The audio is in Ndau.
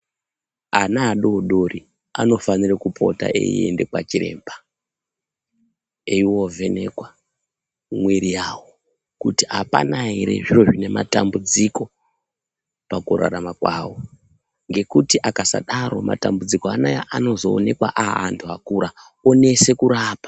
Ana adodori anofanire kupota eienda kwachiremba eivo vhenekwa mwiri yavo. Kuti hapana ere zviro zvine matambudziko pakurarama kwavo. Ngekuti akasadaro matambudziko anaya anozoonekwa aantu akura onese kurapa.